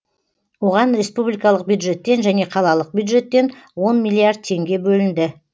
оған республикалық бюджеттен және қалалық бюджеттен он миллиард теңге бөлінді